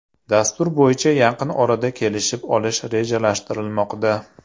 Dastur bo‘yicha yaqin orada kelishib olish rejalashtirilmoqda.